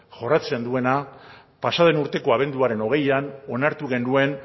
jorratzen duena pasa den urteko abenduaren hogeian onartu genuen